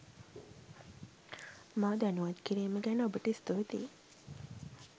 මා දැනුවත් කිරීම ගැන ඔබට ස්තුතියි.